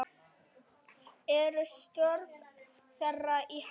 Eru störf þeirra í hættu?